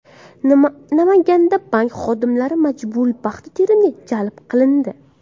Namanganda bank xodimlari majburiy paxta terimiga jalb qilindi.